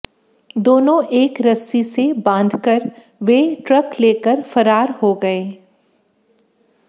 दोनों एक रस्सी से बांधकर वे ट्रक लेकर फरार हो गए